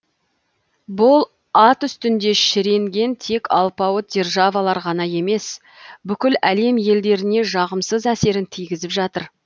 бұл ат үстінде шіренген тек алпауыт державаларға ғана емес бүкіл әлем елдеріне жағымсыз әсерін тигізіп жатыр